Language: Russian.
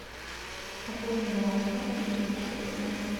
пополни баланс папы на триста пятьдесят рублей